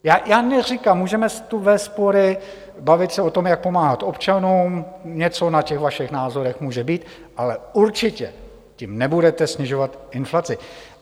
Já neříkám, můžeme tu vést spory, bavit se o tom, jak pomáhat občanům, něco na těch vašich názorech může být, ale určitě tím nebudete snižovat inflaci.